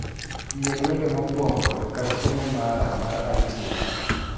Yier wende mokuongo e kar somo mara mar itunes